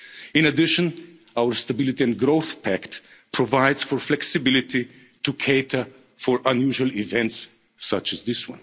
impact. In addition, our Stability and Growth Pact provides for flexibility to cater for unusual events such